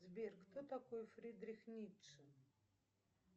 сбер кто такой фридрих ницше